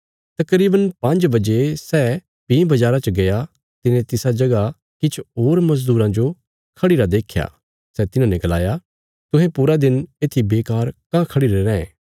तकरीवन पांज बजे सै भीं बजारा च गया तिने तिसा जगह किछ होर मजदूरां जो खढ़िरा देख्या सै तिन्हांने गलाया तुहें पूरा दिन येत्थी बेकार कांह खढ़िरे रैं